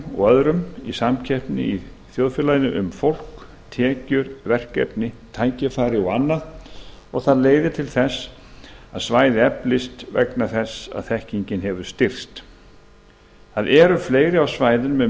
og öðrum í samkeppni í þjóðfélaginu um fólk tekjur verkefni tækifæri og annað og leiðir til þess að svæði eflist vegna þess að þekkingin hefur styrkst fleiri verða á svæðinu með